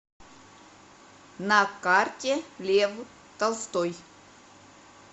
на карте лев толстой